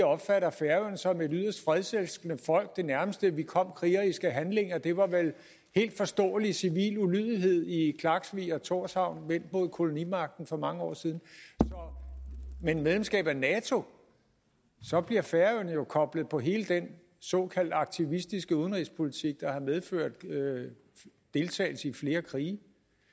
opfatter færingerne som et yderst fredselskende folk det nærmeste vi kom krigeriske handlinger var vel helt forståelig civil ulydighed i klaksvik og thorshavn vendt mod kolonimagten for mange år siden med medlemskab af nato bliver færøerne jo koblet på hele den såkaldte aktivistiske udenrigspolitik der har medført deltagelse i flere krige